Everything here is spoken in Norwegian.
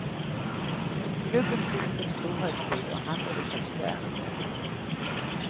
Klubben fikk sin storhetstid, og han ble det første æresmedlem.